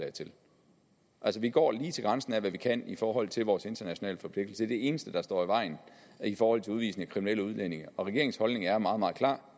altså vi går lige til grænsen af hvad vi kan i forhold til vores internationale forpligtelser det eneste der står i vejen i forhold til udvisning af kriminelle udlændinge og regeringens holdning er meget meget klar